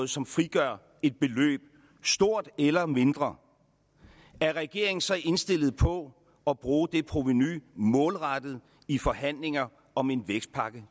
som frigør et beløb stort eller mindre er regeringen så indstillet på at bruge det provenu målrettet i forhandlinger om en vækstpakke